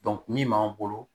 min b'an bolo